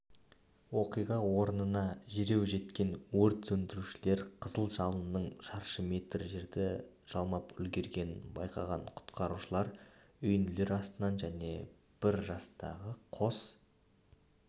оқиға орнына дереу жеткен өрт сөндірушілер қызыл жалынның шаршы метр жерді жалмап үлгергенін байқаған құтқарушылар үйінділер астынан және бір жастағы қос